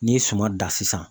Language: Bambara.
N'i ye suman dan sisan